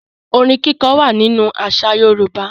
Ọrin kíkọ wà nínú àṣà Yorùbá.